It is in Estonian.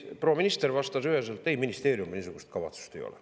Proua minister vastas üheselt: ei, ministeeriumil niisugust kavatsust ei ole.